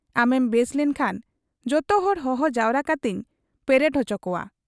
ᱟᱢᱮᱢ ᱵᱮᱥ ᱞᱮᱱᱠᱷᱟᱱ ᱡᱚᱛᱚᱦᱚᱲ ᱦᱚᱦᱚ ᱡᱟᱣᱨᱟ ᱠᱟᱛᱮᱧ ᱯᱮᱨᱮᱰ ᱚᱪᱚ ᱠᱚᱣᱟ ᱾